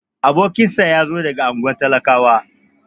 Abokinsa yazo daga unguwan talakawa.